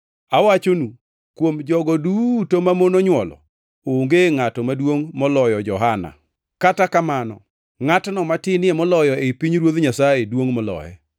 Awachonu, kuom jogo duto mamon onywolo onge ngʼato maduongʼ moloyo Johana; kata kamano ngʼatno matinie moloyo e pinyruoth Nyasaye duongʼ moloye.”